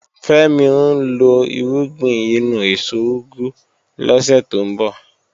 Fẹ́mi ń lọ irúgbìn inú èso úgú lọ́sẹ̀ tó ń bọ̀